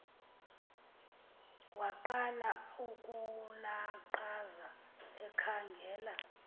waqala ukulaqaza ekhangela